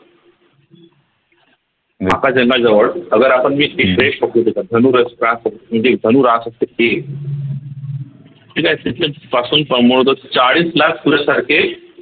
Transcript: धनुर असतात म्हणजे धनु रास असते त्याच्यापासून पण चाळीस लाख सूर्यासारखे